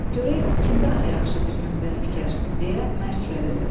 Görək kim daha yaxşı bir günbəz tikər deyə mərc gəlirlər.